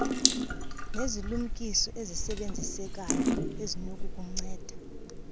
nezilumkiso ezisebenzisekayo ezinokukunceda